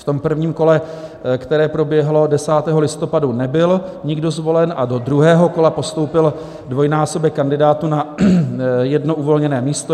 V tom prvním kole, které proběhlo 10. listopadu, nebyl nikdo zvolen a do druhého kola postoupil dvojnásobek kandidátů na jedno uvolněné místo.